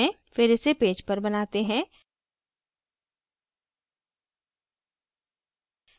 फिर इसे पेज पर बनाते हैं